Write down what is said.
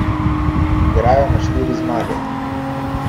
Igrajo na štiri zmage.